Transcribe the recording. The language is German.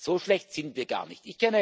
So schlecht sind wir gar nicht.